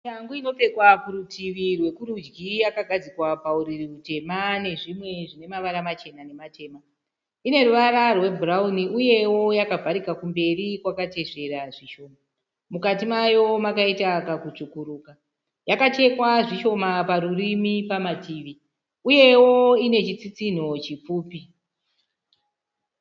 Shangu inopfekewa kurutivi rwekurudyi yakagadzikwa pauriri hutema nezvimwe zvine mavara machena nematema. Ine ruvara rwebhurauni uyewo yakavharika kumberi kwakatesvera zvishoma. Mukati mayo makaita kakutsvukuruka. Yakachekwa zvishoma parurimi, pamativi uyewo ine chitsitsinho chipfupi.